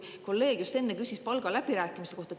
Kolleeg just enne küsis palgaläbirääkimiste kohta.